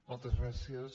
moltes gràcies